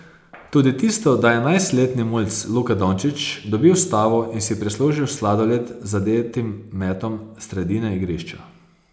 Tudi tisto, da je enajstletni mulc Luka Dončič dobil stavo in si prislužil sladoled z zadetim metom s sredine igrišča.